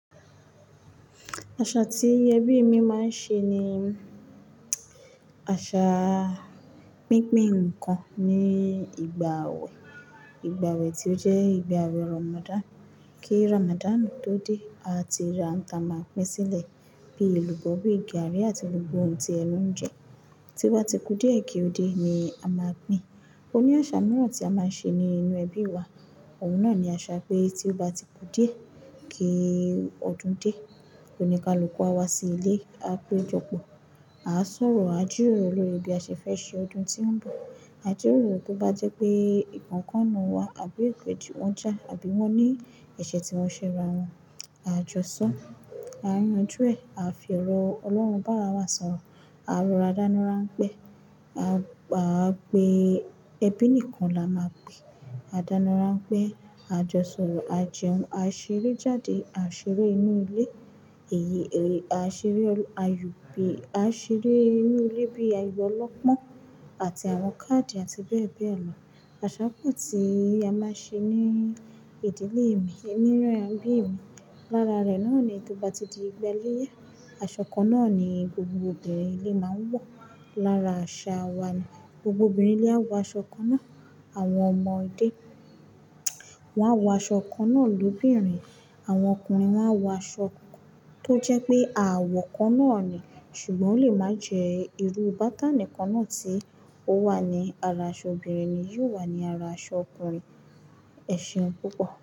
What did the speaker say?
Àṣà tí ẹbí mi máa ń ṣe ni àṣà pínpín ǹkan ní ìgbà awe. Ìgbà wẹ̀ tí ó jẹ́ ìgbà wẹ̀ Ramadan. Kí Ramadan tó dé, a ti ra n ta máa pín sílẹ̀ bí i èlùbọ́, bí i gàrí àti gbogbo ohun tí ẹnu ń jẹ. Tí oba ti kú díẹ̀ kí ó dé ni a máa pín. Ó ní àṣà mìíràn tí a máa ń ṣe nínú ẹbí wa. Òun náà ni àṣà pé tí ó bá ti kú díẹ̀ kí ọdún dé, òní ni a lọ kó wá sí ilé. A pe jọpọ̀, a sọ̀rọ̀, a jiroro lori bí a ṣe fẹ́ ṣe ọdún tí ń bọ̀. A jiroro tó bá jẹ́ pé ǹkan kan n nu wá àbí ikeji wọ́n já àbí wọ́n ní ẹ̀ṣẹ̀ tí wọ́n ṣe ra wọ́n, a jọ́sọ́, a yanju ẹ, a fi ọ̀rọ̀ Ọlọ́run bá ara wa sọ̀rọ̀, a rora dana ranpe, a, a pe ẹbí nìkan la máa pè. A dáná ranpe, a jọ sọ̀rọ̀, a jẹun, a ṣeré jáde, a ṣeré inú ilé, èyí, a ṣeré, ayo, a ṣeré inú ilé bíi ayò ọlọ́pọ́n àti àwọn káàdì àti bẹ́ẹ̀ bẹ́ẹ̀ lọ. Àṣà kan tí a máa ń ṣe ní ìdílé mi, ẹmí rẹ̀ àbí emi. Lára rẹ̀ náà ni tó bá ti di ìgbà iléyá, aṣọ kan náà ni gbogbo obìnrin ilé máa ń wọ̀. Lára àṣà wa ni gbogbo obìnrin ilé á wọ aṣọ kan náà. Àwọn ọmọdé won a wọ aṣọ kan náà lóbìnrin. Àwọn ọkùnrin won a wọ aṣọ tó jẹ́ pé àwọ̀ kan náà ni ṣùgbọ́n ó lè máa jẹ́ irú bátánì kan náà tí ó wà ní ara aṣọ obìnrin ni yóò wà ní ara aṣọ ọkùnrin. Ẹ̀ṣin púpọ̀.